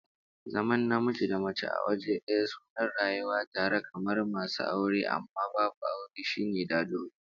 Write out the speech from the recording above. Zaman namiji da mace a waje daya suna rayuwa tare kamar masu aure amma babu aure, shine dadiro